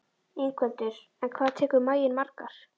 Ingveldur: En hvað tekur maginn margar?